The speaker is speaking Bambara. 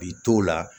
K'i t'o la